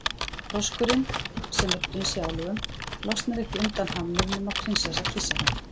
Froskurinn, sem er prins í álögum, losnar ekki undan hamnum nema prinsessa kyssi hann.